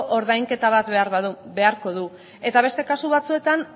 ordainketa bat beharko du eta beste kasu batzuetan